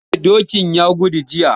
Eh dokin ya gudu jiya.